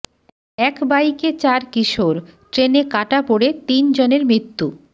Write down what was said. এক বাইকে চার কিশোর ট্রেনে কাটা পড়ে তিনজনের মৃত্যু